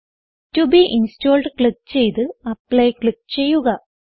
to be installed click ചെയ്ത് apply click ചെയ്യുക